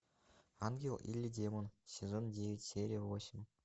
ангел или демон сезон девять серия восемь